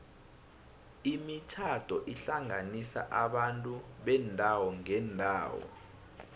imitjhado ihlanganisa abantu beendawo ngeendawo